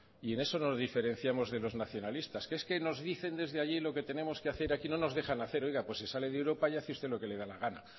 y en eso nos diferenciamos de los nacionalistas es que nos dicen desde allí lo que tenemos que hacer aquí no nos dejan hacer oiga pues se sale de europa y hágase usted lo que le dé la gana